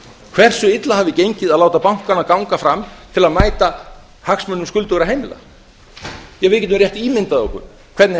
hversu illa hafi gengið að láta bankana ganga fram til að mæta hagsmunum skuldugra heimila ja við getum rétt ímyndað okkur hvernig